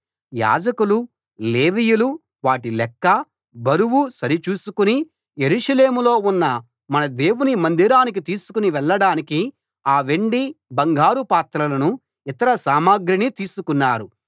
యాజకులు లేవీయులు వాటి లెక్క బరువు సరిచూసుకుని యెరూషలేములో ఉన్న మన దేవుని మందిరానికి తీసుకు వెళ్ళడానికి ఆ వెండి బంగారు పాత్రలను ఇతర సామగ్రిని తీసుకున్నారు